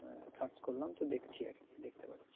search করলাম তো দেখছি আর কি দেখতে পারছি